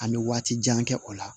An bɛ waati jan kɛ o la